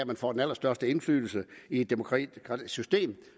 man får den allerstørste indflydelse i et demokratisk system